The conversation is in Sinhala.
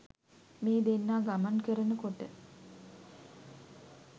මේ දෙන්නා ගමන් කරන කොට